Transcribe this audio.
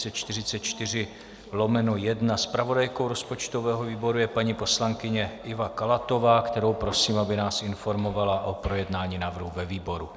Zpravodajkou rozpočtového výboru je paní poslankyně Iva Kalátová, kterou prosím, aby nás informovala o projednání návrhu ve výboru.